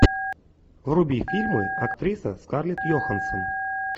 вруби фильмы актриса скарлетт йоханссон